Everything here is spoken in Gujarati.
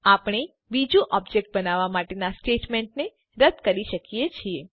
આપણે બીજું ઓબજેક્ટ બનાવવા માટેના સ્ટેટમેંટને રદ્દ કરી શકીએ છીએ